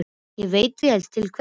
Og ég veit vel til hvers.